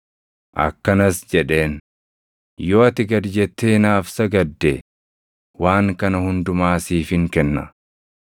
Akkanas jedheen; “Yoo ati gad jettee naaf sagadde, waan kana hundumaa siifin kenna.”